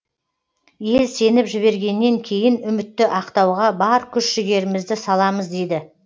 ел сеніп жібергеннен кейін үмітті ақтауға бар күш жігерімізді саламыз дейді